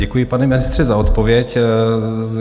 Děkuji, pane ministře, za odpověď.